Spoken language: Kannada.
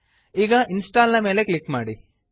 ಈಗ ಇನ್ಸ್ಟಾಲ್ ನ ಮೇಲೆ ಕ್ಲಿಕ್ ಮಾಡಿ